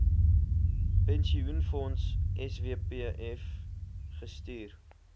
pensioenfonds swpf gestuur